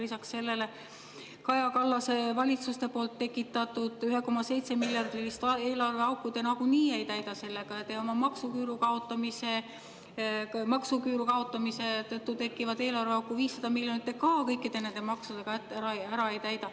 Lisaks sellele Kaja Kallase valitsuste tekitatud 1,7-miljardilist eelarveauku te nagunii ei täida sellega ja oma maksuküüru kaotamise tõttu tekkivat 500-miljonilist eelarveauku kõikide nende maksudega samuti ära ei täida.